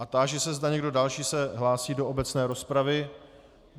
A táži se, zda někdo další se hlásí do obecné rozpravy.